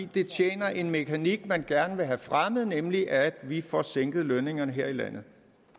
det tjener en mekanik man gerne vil have fremmet nemlig at vi får sænket lønningerne her i landet